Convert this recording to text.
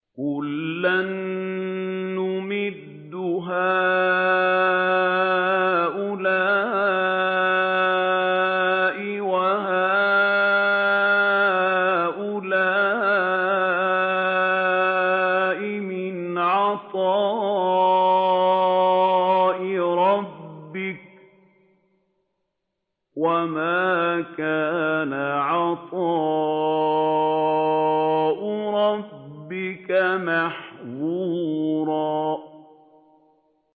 كُلًّا نُّمِدُّ هَٰؤُلَاءِ وَهَٰؤُلَاءِ مِنْ عَطَاءِ رَبِّكَ ۚ وَمَا كَانَ عَطَاءُ رَبِّكَ مَحْظُورًا